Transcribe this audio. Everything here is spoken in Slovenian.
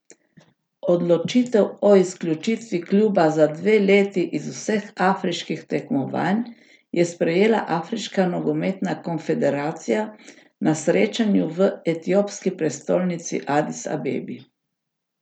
Odločitev o izključitvi kluba za dve leti iz vseh afriških tekmovanj je sprejela Afriška nogometna konfederacija na srečanju v etiopski prestolnici Adis Abebi.